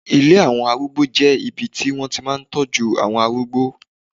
Ilé àwọn arúgbó jẹ́ ibi tí wọ́n ti máa ń tọ́jú àwọn arúgbó